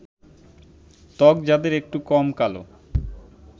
ত্বক যাদের একটু কম কালো